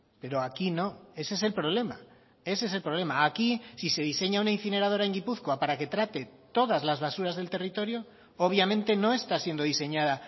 pero aquí no ese es el problema ese es el problema aquí si se diseña una incineradora en gipuzkoa para que trate todas las basuras del territorio obviamente no está siendo diseñada